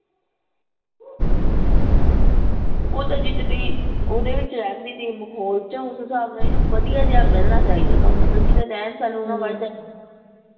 ਉਹ ਤਾਂ ਜਿਸ ਦੀ ਉਹਦੇ ਵਿਚ ਰਹਿਣ ਦਈ ਤੀ ਮਾਹੌਲ ਚੋਂ ਉਸ ਹਿਸਾਬ ਨਾਲ ਇਹਨੂੰ ਵਧੀਆ ਜਾ ਮਿਲਣਾ ਚਾਹੀਦਾ ਤੁਹਾਨੂੰ ਪਤਾ ਬੰਦਾ ਪਤਾ ਕਿਦਾਂ ਰਹਿਣ ਸਹਿਣ